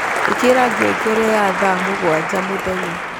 ĩkĩra ngengere ya thaa mũgwanja mũthenya